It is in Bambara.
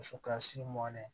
Dusu kasi mɔnɛ